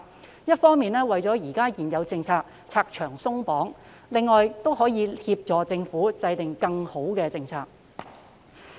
這樣一方面可為現有政策拆牆鬆綁，另一方面亦可協助政府制訂更好的政策。